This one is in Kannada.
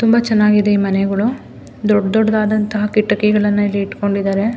ತುಂಬ ಚೆನ್ನಾಗಿದೆ ಈ ಮನೆಗಳು ದೊಡ್ಡ್ ದೊಡ್ಡದಾದಂತಹ ಕಿಟಕಿಗಳನ್ನ ಇಲ್ಲಿ ಇಟ್ಕೊಂಡಿದ್ದಾರೆ.